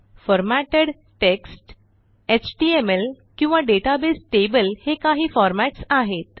formatted text HTML किंवा database table हे काही फॉर्मॅट्स आहेत